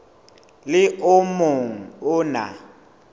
le o mong o na